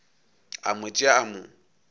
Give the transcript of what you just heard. a mo tšea a mo